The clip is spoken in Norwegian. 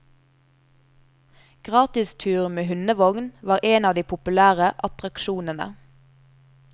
Gratis tur med hundevogn var en av de populære attraksjonene.